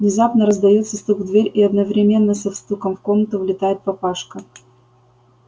внезапно раздаётся стук в дверь и одновременно со стуком в комнату влетает папашка